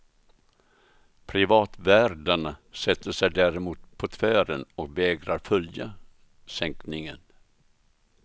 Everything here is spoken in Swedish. Privatvärdarna sätter sig däremot på tvären och vägrar följa sänkningen.